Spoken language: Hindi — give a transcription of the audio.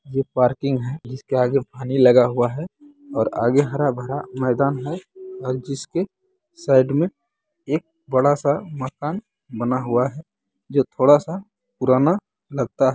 ये पार्किंग है जिसके आगे हनी लगा हुआ है और आगे हरा-भरा मैदान है और जिसके साइड में एक बड़ा-सा मकान बना हुआ है जो थोड़ा सा पुराना लगता है।